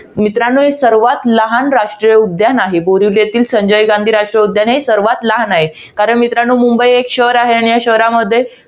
मित्रांनो, हे सर्वात लहान राष्ट्रीय उद्यान आहे. बोरीवली येथील, संजय गांधी राष्ट्रीय उद्यान हे सर्वात लहान आहे. कारण मित्रांनो, मुंबई हे एक शहर आहे. आणि या शहरामध्ये